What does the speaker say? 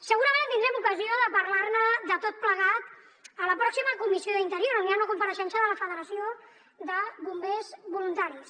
segurament tindrem ocasió de parlar ne de tot plegat a la pròxima comissió d’interior on hi ha una compareixença de la federació de bombers voluntaris